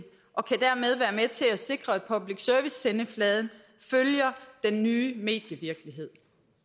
og kan dermed være med til at sikre at public service sendefladen følger den nye medievirkelighed